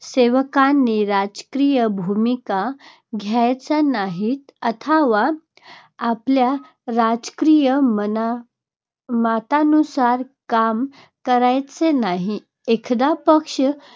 सेवकांनी राजकीय भूमिका घ्यायच्या नाहीत अथवा आपल्या राजकीय मना मतांनुसार काम करायचे नाही. एखादा पक्ष